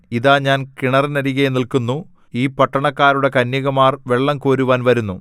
ഇതാ ഞാൻ കിണറിനരികെ നില്ക്കുന്നു ഈ പട്ടണക്കാരുടെ കന്യകമാർ വെള്ളംകോരുവാൻ വരുന്നു